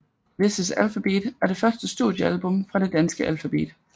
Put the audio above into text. This Is Alphabeat er det første studiealbum fra det danske band Alphabeat